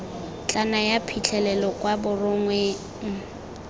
tla naya phitlhelelo kwa borongweng